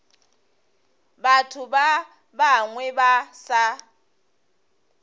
batho ba bangwe ba sa